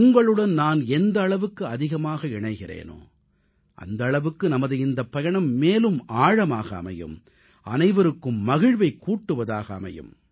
உங்களுடன் நான் எந்த அளவுக்கு அதிகமாக இணைகிறேனோ அந்த அளவுக்கு நமது இந்தப் பயணம் மேலும் ஆழமாக அமையும் அனைவருக்கும் மகிழ்வைக் கூட்டுவதாக அமையும்